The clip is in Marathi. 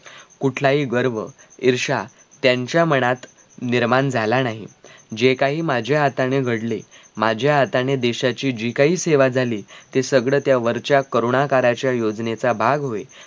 कुठलाही गर्व, ईर्ष्या त्यांच्या मनात निर्माण झाला नाही जे काही माझ्या हाताने घडले, माझ्या हाताने देशाची जी काही सेवा झाली ते सगळं त्या वरच्या करूणाकाराच्या योजनेचा भाग होय